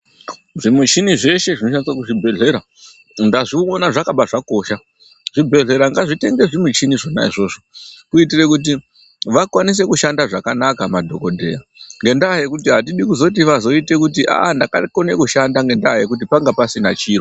Zvimuchini zveshe zvinoshandiswa kuzvibhehlera ndazviona zvakabazvakosha zvibhehlera ngazvitenge zvichini zvona izvozvo kutiitire kuti vakwaise kushanda zvakanaka madhokodheya ngenda yekuti atidi kuti vazote ite kuti aah ndakone kushanda ngenda yekuti pangasina chiro.